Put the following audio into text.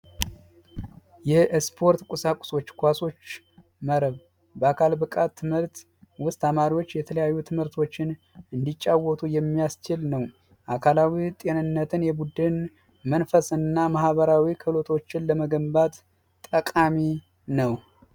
ስፖርት ቁሳቁሶች ኳሶና የመረብ ኳስ የብቃት ትምህርት ውስጥ ተማሪዎች የተለያዩ ትምህርቶችን እንዲጫወቱ የሚያስችል ነው አካላዊ ጤንነትን የቡድን መንፈስና ማህበራዊ ሎቶችን ለመገንባት ጠቃሚ ነው